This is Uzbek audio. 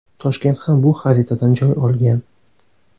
Toshkent ham bu xaritadan joy olgan.